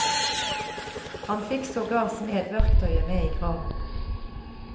Han fikk sågar smedverktøyet med i graven.